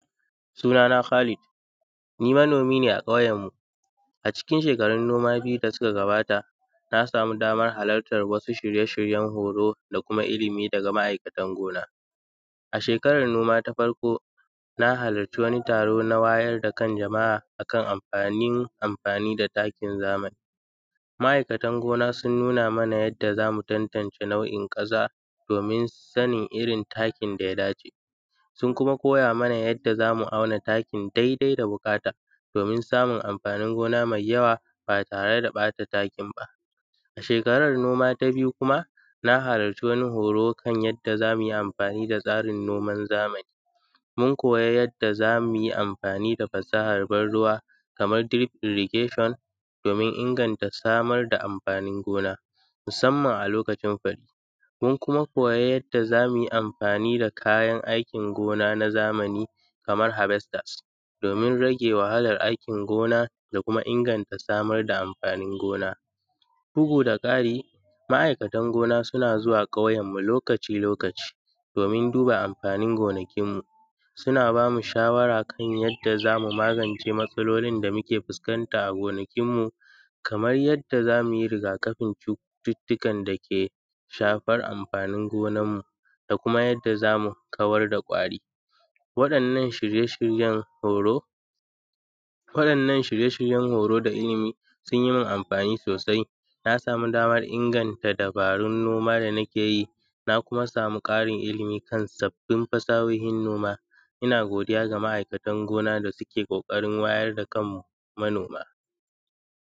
Suna na Kalid, ni manomi ne a ƙauyenmu a cikin shekarun noma biyu da suka gabata na samu damar halartar wasu shirye-shiryen horo da kuma ilimi daga ma’aikatan noma. A shekarar noma ta farko na halarci wani taro na wayar da kan jama’a akan anfani amfani da takin zamani, ma’aikatan gona sun nuna mana yadda za mu tantance nau’in ƙasa domin sanin irin takin da ya dace, sun kuma koya mana yadda za mu auna takin daidai da buƙata domin samun amfanin gona mai yawa ba tare da ɓata takin ba. A shekaran noma ta biyu kuma na halarci wani horo yadda za mu yi amfani da tsarin noman zamani, mun koyi yadda za mu yi amfani da fasahar ban ruwa kamar dai irrigashon domin inganta samar da amfanin gona musamman a lokacin fari mun kuma koyi yadda za mu yi amfani da kayan aikin gona na zamani kamar habestas domin rage wahalar aikin gona da kuma inganta samar da amfanin gona, bugu da ƙari ma’aikatan noma suna zuwa ƙauyen mu lokaci-lokaci domin duba amfanin gonakin mu, suna ba mu shawara kan yadda za mu magance matsalolin da muke fuskanta a gonakin mu kamar yadda sauyi yadda za mu yi rigakafin cututtukan dake shafan amfanin gonanmu da damuma yadda za mu kawar da kwari, waɗannan shirye-shiryen horo waɗannan shriye-shiryen horo sun yi min anfani sosai na samu damar inganta dabarun gona da muke yi na kuma samu ƙarin ilimi kan sabbin fasahohin noma. Ina godiya da ma’aikan gona da suke ƙoƙarin mayar da kan manoma.